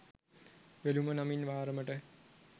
වෙළුම නමින් වාරමට